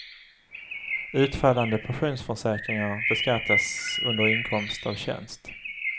Utfallande pensionsförsäkringar beskattas under inkomst av tjänst.